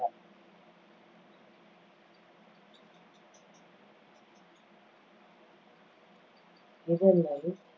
இதனை